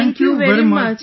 Thank you very much